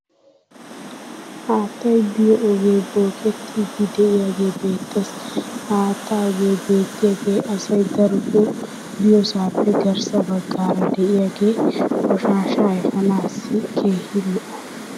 haattay biyo ogee bookkettidi diyaagee beettees. ha haattaa ogee beettiyagee asay darotoo biyoosaappe garssa bagaara diyaage qoshshaasha efaanaassi keehi lo"o.